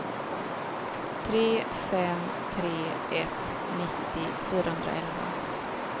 tre fem tre ett nittio fyrahundraelva